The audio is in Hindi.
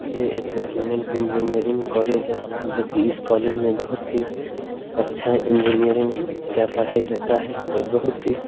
ये एक गवर्मेंट एंजिनियरिंग कोलेज है जो की इस कोलेज में बहुत ही अच्छा एंजिनियरिंग का पढाई होता है और बहुत ही --